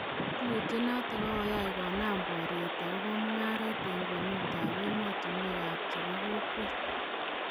Tilutinoton kogoyaa konam boriit agobo mugaaret en kwenuut ab emotunweek ab chebokokweet.